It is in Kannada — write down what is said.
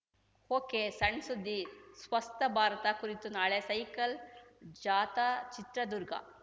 ಒಕೆಸಣ್‌ಸುದ್ದಿಸ್ವಸ್ಥ ಭಾರತ ಕುರಿತು ನಾಳೆ ಸೈಕಲ್‌ ಜಾಥಾ ಚಿತ್ರದುರ್ಗ